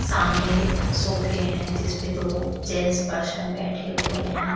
सामने सोफे हैं जिसपे दो जेंट्स पर्सन बैठे हुए हैं।